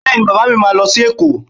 Bẹ́ẹ̀ni, Bàbá mi máa lọ sí Èkó